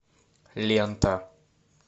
лента